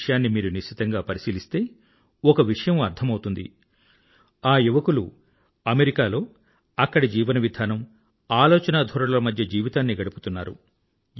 ఈ విషయాన్ని మీరు నిశితంగా పరిశీలిస్తే ఒక విషయం అర్థమౌతుంది ఆ యువకులు అమెరికాలో అక్కడి జీవన విధానం ఆలోచనధోరణుల మధ్య జీవితాన్ని గడుపుతున్నారు